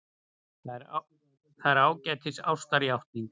Það er ágætis ástarjátning.